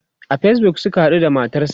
a Facebook Suka haɗu da matarsa